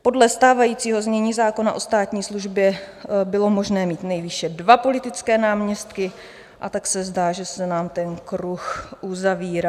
Podle stávajícího znění zákona o státní službě bylo možné mít nejvýše dva politické náměstky, a tak se zdá, že se nám ten kruh uzavírá.